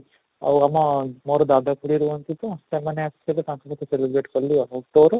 ଆଉ ଆମ ମୋର ଦାଦା ଖୁଡୀ ରୁହନ୍ତି ତ ସେମାନେ ଆସିଥିଲେ ତାଙ୍କ ସହିତ celebrate କଲି ଆଉ ତୋର?